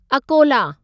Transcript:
Akola